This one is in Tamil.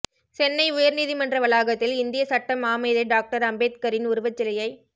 சென்னை உயர் நீதிமன்ற வளாகத்தில் இந்திய சட்ட மாமேதை டாக்டர் அம்பேதகரின் உருவச் சிலையைத்